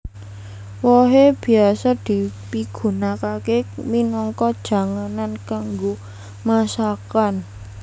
Wohé biasa dipigunakaké minangka janganan kanggo masakan